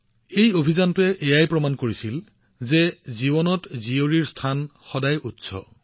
এই অভিযানৰ জৰিয়তে জীৱনত এজনী কন্যা সন্তানৰ গুৰুত্বও সন্মুখলৈ আহিল